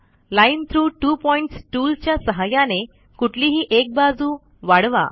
line through two points tool च्या सहाय्याने कुठलीही एक बाजू वाढवा